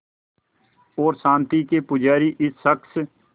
और शांति के पुजारी इस शख़्स